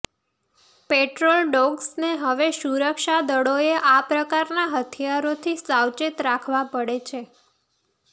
petrol ડોગ્સને હવે સુરક્ષા દળોએ આ પ્રકારનાં હથિયારોથી સાવચેત રાખવાં પડે છે